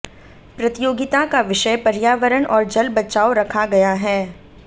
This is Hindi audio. प्रतियोगिता का विषय पर्यावरण और जल बचाओ रखा गया है